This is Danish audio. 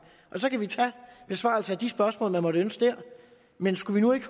og så kan vi tage besvarelsen af de spørgsmål man måtte ønske der men skulle vi nu ikke